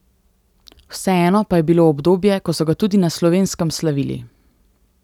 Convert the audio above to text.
Vseeno pa je bilo obdobje, ko so ga tudi na Slovenskem slavili.